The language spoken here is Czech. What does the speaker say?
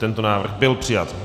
Tento návrh byl přijat.